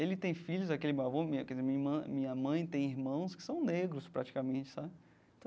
Ele tem filhos, aquele marrom, minha quer dizer irmã minha mãe tem irmãos que são negros praticamente sabe.